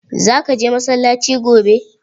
Za ka je masallaci gobe?